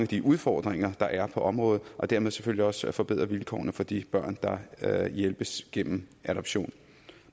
de udfordringer der er på området og dermed selvfølgelig også forbedre vilkårene for de børn der hjælpes gennem adoption